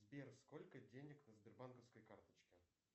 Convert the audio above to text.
сбер сколько денег на сбербанковской карточке